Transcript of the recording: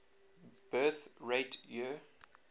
birth rate year